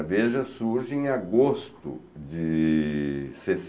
A Veja surge em agosto de